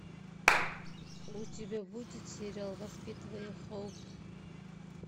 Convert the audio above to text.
у тебя будет сериал воспитывая хоуп